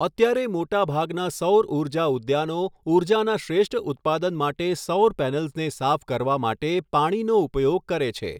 અત્યારે મોટા ભાગના સૌર ઉર્જા ઉદ્યાનો ઉર્જાના શ્રેષ્ઠ ઉત્પાદન માટે સૌર પૅનલ્સને સાફ કરવા માટે પાણીનો ઉપયોગ કરે છે.